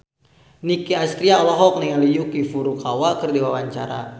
Nicky Astria olohok ningali Yuki Furukawa keur diwawancara